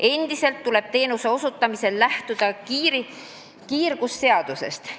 Endiselt tuleb teenuse osutamisel lähtuda kiirgusseadusest.